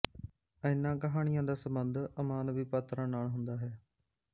ਇਹਨਾਂ ਕਹਾਣੀਆਂ ਦਾ ਸੰਬੰਧ ਅਮਾਨਵੀ ਪਾਤਰਾਂ ਨਾਲ ਹੁੰਦਾ ਹੈ